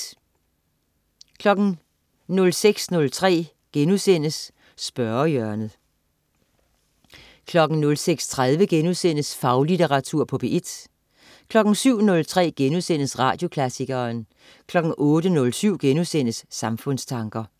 06.03 Spørgehjørnet* 06.30 Faglitteratur på P1* 07.03 Radioklassikeren* 08.07 Samfundstanker*